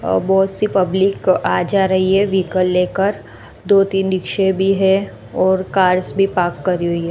और बहुत सी पब्लिक आ जा रही है व्हीकल लेकर दो तीन रिक्शे भी है और कार्स भी पार्क करी हुई है।